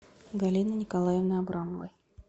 галины николаевны абрамовой